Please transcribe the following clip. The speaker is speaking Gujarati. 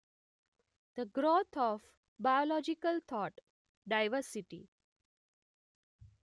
the growth of biological thought diversity